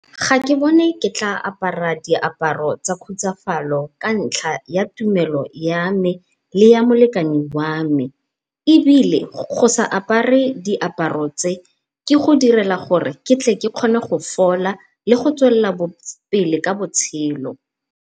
Ga ke bone ke tla apara diaparo tsa khutsafalo ka ntlha ya tumelo ya me le ya molekane wa me. Ebile go sa apare diaparo tse, ke go direla gore ke tle ke kgone go fola le go tswelela pele ka botshelo.